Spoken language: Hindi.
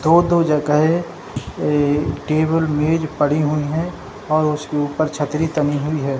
दो-दो जगहें ए टेबुल मेज पड़ी हुई है और उसके ऊपर छतरी टंगी हुई है ।